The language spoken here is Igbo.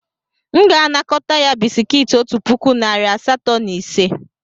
M ga-anakọta ya bisikiiti otu puku narị asatọ na ise.